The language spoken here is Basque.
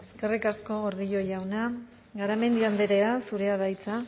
eskerrik asko gordillo jauna garamendi andrea zurea da hitza